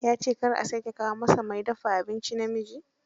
Ya ce kar a sake kawo masa mai dafa abinci namiji